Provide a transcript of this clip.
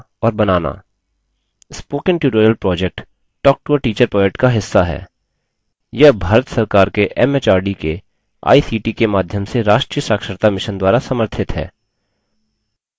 spoken tutorial project talktoateacher project का हिस्सा है यह भारत सरकार के एमएचआरडी के आईसीटी के माध्यम से राष्ट्रीय साक्षरता mission द्वारा समर्थित है